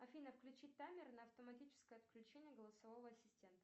афина включи таймер на автоматическое отключение голосового ассистента